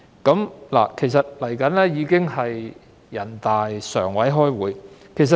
《馬拉喀什條約》尚待人大常委會確認。